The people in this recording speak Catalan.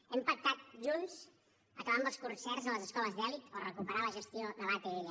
hem pactat junts acabar amb els concerts a les escoles d’elit o recuperar la gestió de l’atll